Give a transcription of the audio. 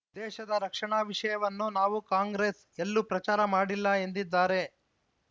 ದೇಶದ ರಕ್ಷಣಾ ವಿಷಯವನ್ನು ನಾವು ಕಾಂಗ್ರೆಸ್‌ ಎಲ್ಲೂ ಪ್ರಚಾರ ಮಾಡಿಲ್ಲ ಎಂದಿದ್ದಾರೆ